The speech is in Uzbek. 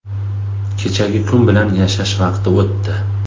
Kechagi kun bilan yashash vaqti o‘tdi.